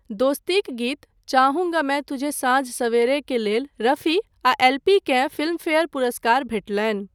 दोस्तीक गीत चाहूँगा मैं तुझे साँझ सवेरेक लेल रफी आ एल पी केँ फिल्मफेयर पुरस्कार भेटलनि।